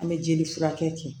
An bɛ jeli furakɛ kɛ